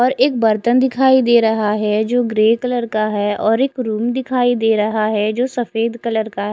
और एक बरतन दिखाई दे रहा है जो ग्रे कलर का है और एक रूम दिखाई दे रहा है जो सफ़ेद कलर का--